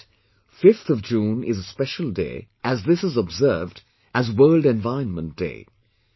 Yet, 5th of June is a special day as this is observed as "World Environment Day"